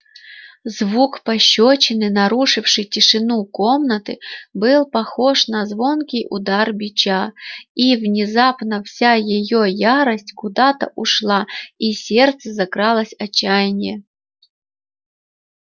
звук пощёчины нарушивший тишину комнаты был похож на звонкий удар бича и внезапно вся её ярость куда-то ушла и в сердце закралось отчаяние